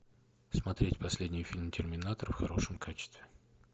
смотреть последний фильм терминатор в хорошем качестве